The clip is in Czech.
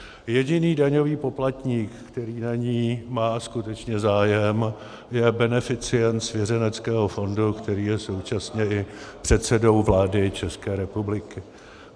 Jediný daňový poplatník, který na ní má skutečně zájem, je beneficient svěřeneckého fondu, který je současně i předsedou vlády České republiky.